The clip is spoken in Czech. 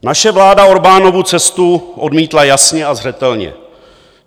Naše vláda Orbánovu cestu odmítla jasně a zřetelně.